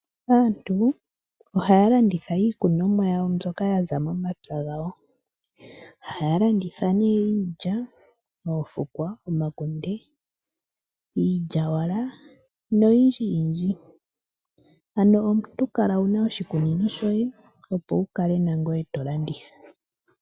Aantu ohaya landitha iikunomwa yawo mbyoka ya za momapya gawo, haya landitha nee iilya, oofukwa, omakunde, iilyawala, noyindji yindji. Ano omuntu kala wuna oshikunino shoye opo wu kale nangoye to landitha.